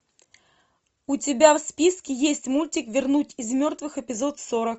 у тебя в списке есть мультик вернуть из мертвых эпизод сорок